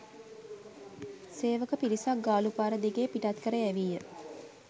සේවක පිරිසක් ගාලූපාර දිගේ පිටත් කර යැවීය